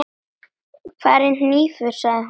Hvar er hnífur, sagði hún.